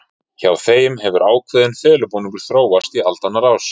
Hjá þeim hefur ákveðin felubúningur þróast í aldanna rás.